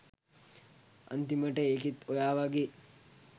අන්තිමට ඒකිත් ඔයා වගේ